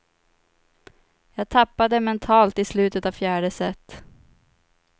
Jag tappade mentalt i slutet av fjärde set.